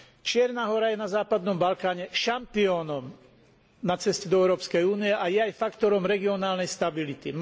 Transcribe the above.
Čierna Hora je na západnom Balkáne šampiónom na ceste do Európskej únie a je aj faktorom regionálnej stability.